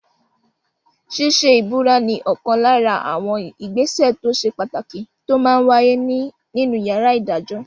Ṣíṣe ìbúra ní ọ̀kan lára àwọn ìgbésẹ̀ tó ṣe pàtàkì tó máa n wáyé nínu yàrá ìdájọ́